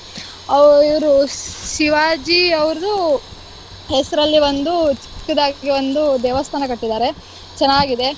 ಅಹ್ ಇವ್ರು ಶಿವಾಜಿ ಅವ್ರ್ದು ಹೆಸ್ರಲ್ಲಿ ಒಂದು ಚಿಕ್ಕದಾಗಿ ಒಂದು ದೇವಸ್ಥಾನ ಕಟ್ಟಿದ್ದಾರೆ ಚೆನ್ನಾಗಿದೆ.